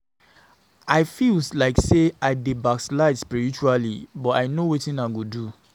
I feel like say I dey backslide spiritually but I no wetin I go do